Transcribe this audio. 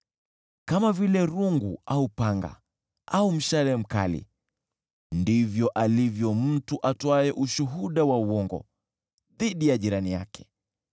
Kama vile rungu au upanga au mshale mkali ndivyo alivyo mtu atoaye ushuhuda wa uongo dhidi ya jirani yake.